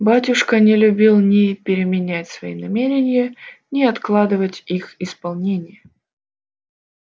батюшка не любил ни переменять свои намерения ни откладывать их исполнение